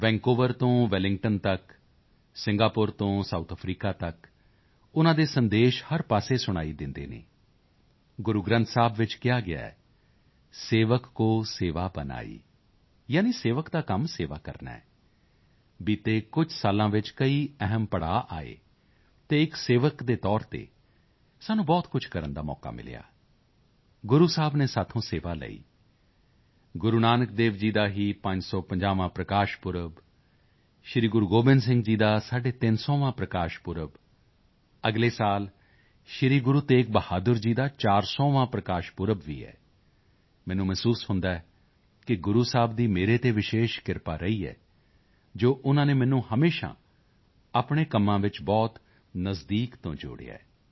Vancouver ਤੋਂ Wellington ਤੱਕ Singapore ਤੋਂ ਸਾਉਥ ਅਫਰੀਕਾ ਤੱਕ ਉਨ੍ਹਾਂ ਦੇ ਸੰਦੇਸ਼ ਹਰ ਪਾਸੇ ਸੁਣਾਈ ਦਿੰਦੇ ਹਨ ਗੁਰੂ ਗ੍ਰੰਥ ਸਾਹਿਬ ਵਿੱਚ ਕਿਹਾ ਗਿਆ ਹੈ ਸੇਵਕ ਕਉ ਸੇਵਾ ਬਨਿ ਆਈ ਯਾਨੀ ਸੇਵਕ ਦਾ ਕੰਮ ਸੇਵਾ ਕਰਨਾ ਹੈ ਬੀਤੇ ਕੁਝ ਸਾਲਾਂ ਵਿੱਚ ਕਈ ਅਹਿਮ ਪੜਾਅ ਆਏ ਅਤੇ ਇੱਕ ਸੇਵਕ ਦੇ ਤੌਰ ਤੇ ਸਾਨੂੰ ਬਹੁਤ ਕੁਝ ਕਰਨ ਦਾ ਮੌਕਾ ਮਿਲਿਆ ਗੁਰੂ ਸਾਹਿਬ ਨੇ ਸਾਥੋਂ ਸੇਵਾ ਲਈ ਗੁਰੂ ਨਾਨਕ ਦੇਵ ਜੀ ਦਾ ਹੀ 550ਵਾਂ ਪ੍ਰਕਾਸ਼ ਪੁਰਬ ਸ੍ਰੀ ਗੁਰੂ ਗੋਬਿੰਦ ਸਿੰਘ ਜੀ ਦਾ 350ਵਾਂ ਪ੍ਰਕਾਸ਼ ਪੁਰਬ ਅਗਲੇ ਸਾਲ ਸ੍ਰੀ ਗੁਰੂ ਤੇਗ ਬਹਾਦਰ ਜੀ ਦਾ 400ਵਾਂ ਪ੍ਰਕਾਸ਼ ਪੁਰਬ ਵੀ ਹੈ ਮੈਨੂੰ ਮਹਿਸੂਸ ਹੁੰਦਾ ਹੈ ਕਿ ਗੁਰੂ ਸਾਹਿਬ ਦੀ ਮੇਰੇ ਤੇ ਵਿਸ਼ੇਸ਼ ਕਿਰਪਾ ਰਹੀ ਹੈ ਜੋ ਉਨ੍ਹਾਂ ਨੇ ਮੈਨੂੰ ਹਮੇਸ਼ਾ ਆਪਣੇ ਕੰਮਾਂ ਵਿੱਚ ਬਹੁਤ ਨਜ਼ਦੀਕ ਤੋਂ ਜੋੜਿਆ ਹੈ